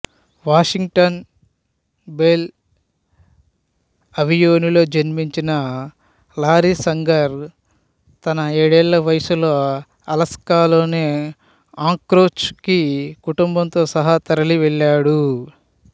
Washington Bell అవెన్యూలో జన్మించిన Larry Sanger తన ఏడేళ్ళ వయసులో అలాస్కాలోని ఆంక్రోచ్ కి కుటుంబంతో సహా తరలివెళ్ళాడు